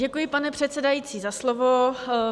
Děkuji, pane předsedající, za slovo.